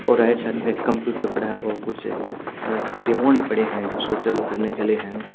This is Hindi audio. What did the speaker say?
और राइट साइड में एक कम्प्यूटर पड़ा है और कुछ रिमोड पड़े हैं जो इसको चालू करने के लिए हैं।